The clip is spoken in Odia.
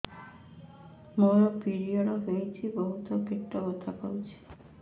ମୋର ପିରିଅଡ଼ ହୋଇଛି ବହୁତ ପେଟ ବଥା କରୁଛି